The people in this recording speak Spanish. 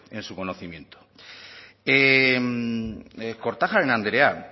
en su conocimiento kortajarena andrea